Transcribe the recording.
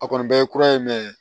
A kɔni bɛɛ ye kura ye